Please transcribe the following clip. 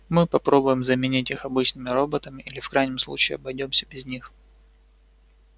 мы попробуем заменить их обычными роботами или в крайнем случае обойдёмся без них